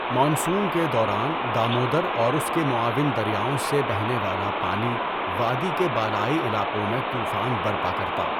Monsoon کے دوران دامودر اور اس کے معاون دریاؤں سے بہنے والا پانی وادی کے بالائی علاقوں میں طوفان برپا کرتا۔